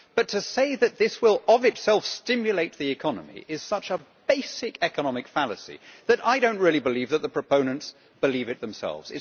But to say that this will, of itself, stimulate the economy is such a basic economic fallacy that I do not really believe the proponents believe it themselves.